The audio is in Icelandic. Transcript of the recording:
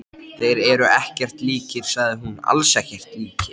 Þeir eru ekkert líkir sagði hún, alls ekkert líkir